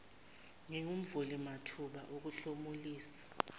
singumvuli mathuba okuhlomulisa